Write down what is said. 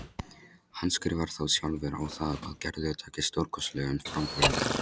Handskrifar þá sjálfur á það að Gerður taki stórkostlegum framförum.